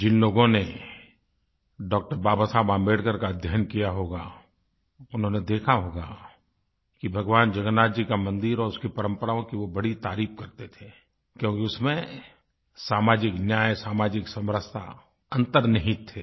जिन लोगों ने डॉ0 बाबा साहेब आम्बेडकर का अध्ययन किया होगा उन्होंने देखा होगा कि भगवान जगन्नाथ जी का मन्दिर और उसकी परंपराओं की वो बड़ी तारीफ़ करते थे क्योंकि उसमें सामाजिक न्याय सामाजिक समरसता अंतर्निहित थे